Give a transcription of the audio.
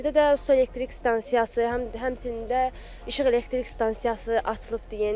Mingəçevirdə də su elektrik stansiyası, həm həmçinin də işıq elektrik stansiyası açılıbdır yeni.